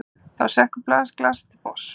Þá sekkur glasið til botns.